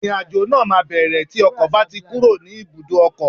Ìrìn àjò náà máa bẹ̀rẹ̀ tí ọkọ̀ bá ti kúrò ní ibùdó ọkọ̀